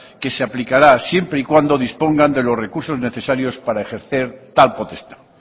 que se aplicará siempre y cuando dispongan de los recursos necesarios para ejercer tal potestad